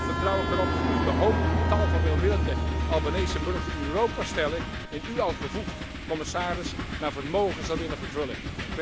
Toch vertrouw ik erop dat u de hoop die tal van welwillende Albanese burgers in Europa stellen, in u als bevoegd commissaris, naar vermogen zult willen vervullen.